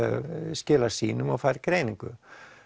skilar sýnum og fær greiningu